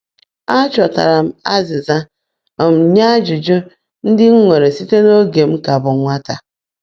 A chọtara m azịza um nye ajụjụ ndị m nwere site n’oge m ka bụ nwata.